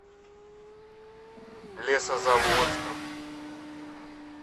лесозаводском